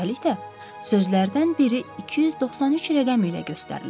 Üstəlik də, sözlərdən biri 293 rəqəmi ilə göstərilib.